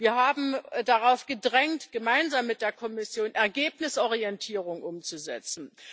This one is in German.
Wir haben darauf gedrängt, gemeinsam mit der Kommission, Ergebnisorientierung umzusetzen.